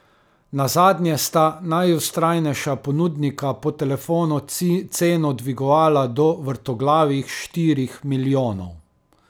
Nazadnje sta najvztrajnejša ponudnika po telefonu ceno dvigovala do vrtoglavih štirih milijonov.